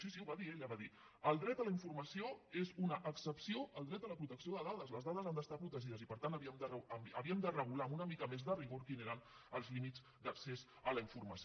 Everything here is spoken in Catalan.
sí sí ho va dir ella va dir el dret a la informació és una excepció al dret a la protecció de dades les dades han d’estar protegides i per tant que havíem de regular amb una mica més de rigor quins eren els límits d’accés a la informació